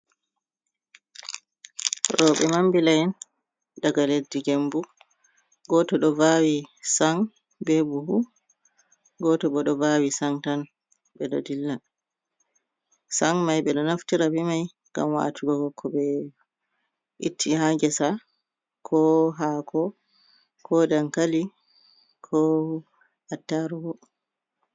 Roɓe mambila’en daga leddi gembu, goto do vawi san be buhu, goto bo ɗo vawi san tan ɓe ɗo dilla, san mai ɓe ɗo naftira bi mai gam waatugo ko ɓe itti ha gesa, ko hako ko dankali ko attarugu.